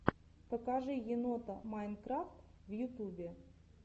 покажи енота майнкрафт в ютубе